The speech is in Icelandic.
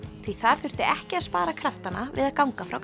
því þar þurfti ekki að spara kraftana við að ganga frá